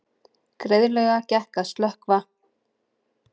Greiðlega gekk að slökkva